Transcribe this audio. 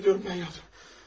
Etiraf edirəm, mən yaptım.